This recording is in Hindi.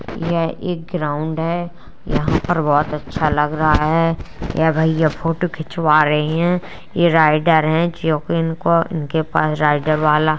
यह एक ग्राउंड है। यहाँ पे बोहोत अच्छा लग रहा है। ये भैया फोटो खिंचवा रहे हैं। ये राइडर है जो कि इनको इनके पास राइडर वाला --